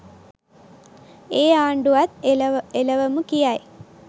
ඒ ආණ්ඩුවත් එලවමු කියයි.